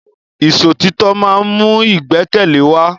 Ìṣọ̀títọ́ má ń mú ìgbẹ́kẹ̀lé wa.